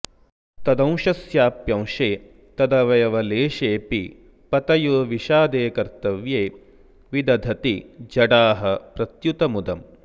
तदंशस्याप्यंशे तदवयवलेशेऽपि पतयो विषादे कर्तव्ये विदधति जडाः प्रत्युत मुदम्